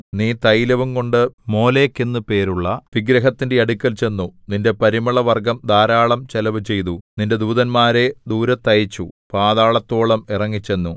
നീ തൈലവുംകൊണ്ടു മോലേക്ക് എന്ന് പേരുള്ള വിഗ്രഹത്തിന്റെ അടുക്കൽ ചെന്നു നിന്റെ പരിമളവർഗ്ഗം ധാരാളം ചെലവ് ചെയ്തു നിന്റെ ദൂതന്മാരെ ദൂരത്തയച്ചു പാതാളത്തോളം ഇറങ്ങിച്ചെന്നു